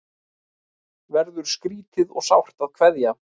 Verður skrýtið og sárt að kveðja